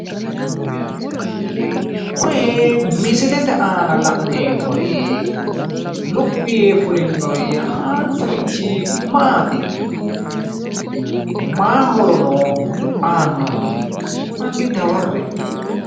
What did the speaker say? Koyee misilete aana la'neemmori luphi yee fulinnori haanjurichi maati? maayi horono aannonke? hanni dawarre'e.